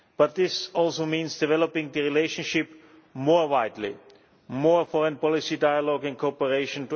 This also means developing the relationship more widely more foreign policy dialogue and cooperation